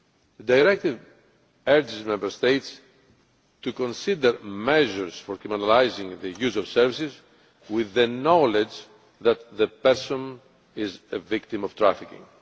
The Directive urges Member States to consider measures for criminalising the use of services with the knowledge that the person is a victim of trafficking.